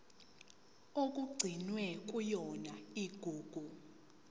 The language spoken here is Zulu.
okugcinwe kuyona igugu